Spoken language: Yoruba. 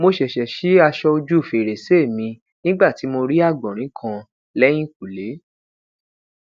mo ṣẹṣẹ si aṣọ oju ferese mi ni nigba ti mo ri agbọnrin kan lẹyinkule